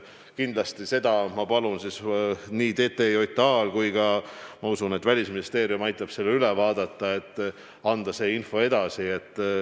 Kindlasti ma palun nii TTJA-l kui ka Välisministeeriumil, kes loodetavasti aitab selle üle vaadata, anda see info edasi.